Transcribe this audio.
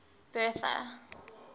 bertha